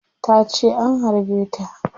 Tace an harbe ta